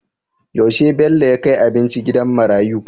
Yaushe Bello ya kai abinci gidan marayiu?